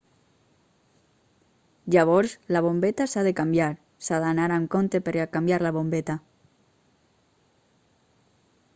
llavors la bombeta s'ha de canviar s'ha d'anar amb compte per a canviar la bombeta